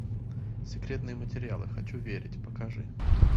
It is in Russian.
секретные материалы хочу верить покажи